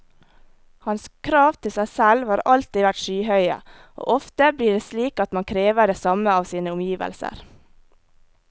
Hans krav til seg selv har alltid vært skyhøye, og ofte blir det slik at man krever det samme av sine omgivelser.